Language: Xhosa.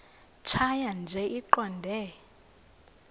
tjhaya nje iqondee